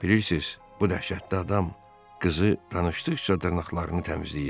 Bilirsiz, bu dəhşətli adam qızı danışdıqca dırnaqlarını təmizləyirdi.